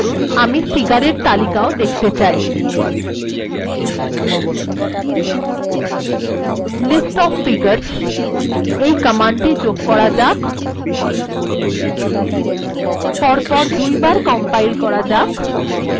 মনে করুন আমি ফিগার্ এর তালিকাও দেখতে চাই listoffigures এই কমান্ডটি যোগ করা যাক কম্পাইল্ করা যাক এটিকে দুই বার কম্পাইল্ করা যাক